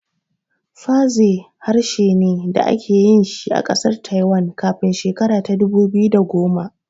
Fazeh harshen da ake yi ne a ƙasar Taiwan kafin shekara ta dubu biyu da goma